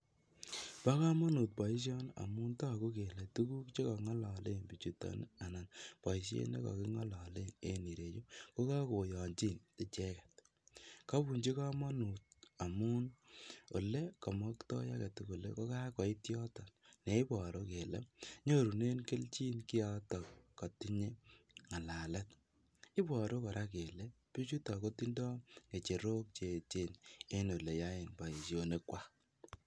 Bokomonut boishoni amun toku kele tukuk chekong'ololen bichuton alan boishet ne ko kingololen en ireyu ko kokoyonchin icheket, kobunchi komonut amun olee komoktoi aketukul kokakoit yoton neiboru kele nyorunen kelchin kioto kotinye ng'alalet, iboru kora kele bichuto kotindo ng'echerok cheechen en oleyoen boishonikwak.